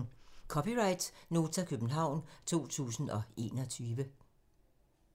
(c) Nota, København 2021